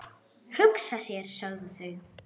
Hugsa sér, sögðu þau.